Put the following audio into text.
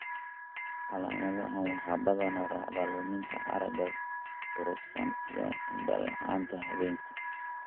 Calaamadahaan waxaa badanaa raacda luminta aragga durugsan iyo indho la'aanta habeenkii.